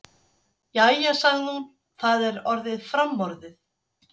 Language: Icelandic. Jæja, sagði hún, það er orðið framorðið.